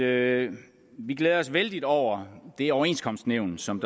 at vi glæder os vældigt over det overenskomstnævn som